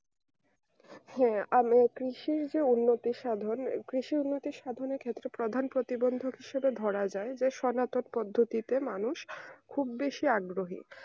হ্যাঁ আমরা কৃষির যে উন্নত সাধন কৃষি উন্নত সাধনের ক্ষেত্রে প্রধান প্রতিবন্ধক হিসেবে ধরা যায় সনাতক পদ্ধতিতে মানুষ খুব বেশি আগ্রহী